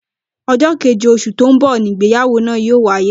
Ojó kéje osù tó n bò ni ìgbéyàwó náà yóò wáyé